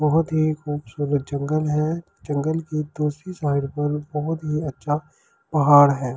बहुत ही खूबसूरत जंगल है जंगल की दूसरी साइड पर बहुत ही अच्छा पहाड़ है।